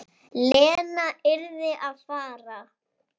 Lena yrði að fara.